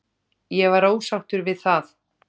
Ég var ósáttur við það.